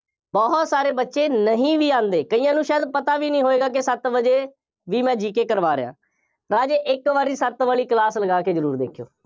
ਬਹੁਤ ਸਾਰੇ ਬੱਚੇ ਨਹੀਂ ਵੀ ਆਉਂਦੇ, ਕਈਆਂ ਨੂੰ ਸ਼ਾਇਦ ਪਤਾ ਵੀ ਨਹੀਂ ਹੋਏਗਾ ਕਿ ਸੱਤ ਵਜੇ ਜੀ ਮੈਂ GK ਕਰਵਾ ਰਿਹਾਂ। ਰਾਜੇ ਇੱਕ ਵਾਰੀ ਸੱਤ ਵਾਲੀ class ਲਗਾ ਕੇ ਜ਼ਰੂਰ ਦੇਖਿਓ।